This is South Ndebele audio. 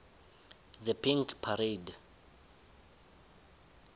the pink parade